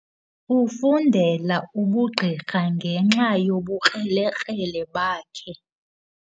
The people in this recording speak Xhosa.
Ufundela ubugqirha ngenxa yobukrelekrele bakhe.